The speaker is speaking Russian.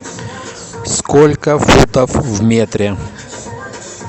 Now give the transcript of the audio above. сколько футов в метре